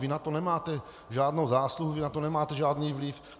Vy na tom nemáte žádnou zásluhu, vy na to nemáte žádný vliv.